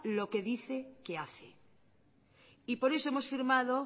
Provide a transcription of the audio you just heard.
lo que dice que hace por eso hemos firmado